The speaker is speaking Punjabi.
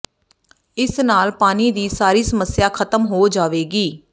ਇਸ ਨਾਲ ਪਾਣੀ ਦੀ ਸਾਰੀ ਸਮੱਸਿਆ ਖਤਮ ਹੋ ਜਾਵੇਗੀ